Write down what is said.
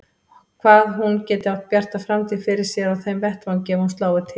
Hvað hún geti átt bjarta framtíð fyrir sér á þeim vettvangi ef hún slái til.